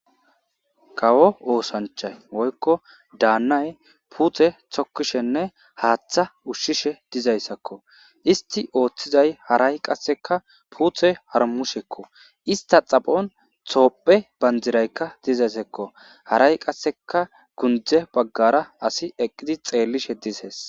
kawo oosanchay woykko daannay puute tokkishenne haaththa ushshishe dizayssakko isti ooththizay haray qasseka puuthe harmushekko ista xaphon thoophe banjiraykka dizaysekko haray qasseka gunde baggara asi eqqidi xeellishe dizees